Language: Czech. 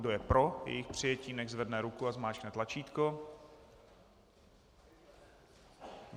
Kdo je pro jejich přijetí, nechť zvedne ruku a zmáčkne tlačítko.